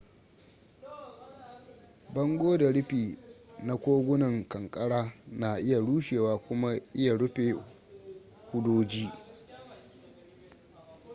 bango da rufi na kogunan kankara na iya rushewa kuma iya rufe hudoji